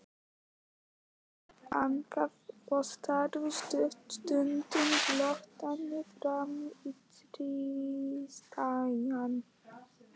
Kort þagnaði og starði stutta stund glottandi framan í Christian.